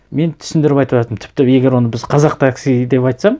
мен түсіндіріп айтыватырмын тіпті егер оны біз қазақ таксиі деп айтсам